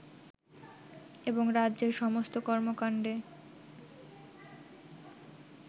এবং রাজ্যের সমস্ত কর্মকাণ্ডে